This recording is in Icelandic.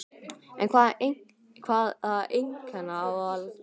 En hvaða einkenna á að leita?